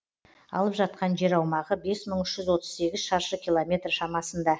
алып жатқан жер аумағы бес мың үш жүз отыз сегіз шаршы километр шамасында